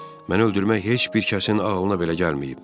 Məni öldürmək heç bir kəsin ağlına belə gəlməyib.